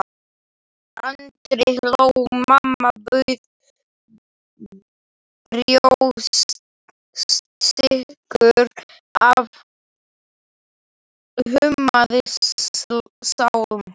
Andri hló, mamma bauð brjóstsykur, afi hummaði sálm.